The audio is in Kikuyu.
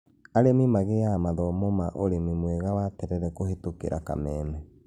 Arĩmi magĩaga mathomo ma ũrĩmi mwega wa terere kũhĩtũkĩra kameme